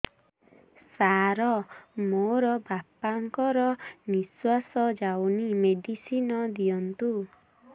ସାର ମୋର ବାପା ଙ୍କର ନିଃଶ୍ବାସ ଯାଉନି ମେଡିସିନ ଦିଅନ୍ତୁ